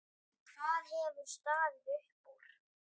Hvað hefur staðið upp úr?